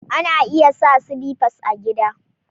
Ana iya sa sliffas a gida.